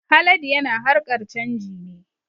Haladu yana harkar canji ne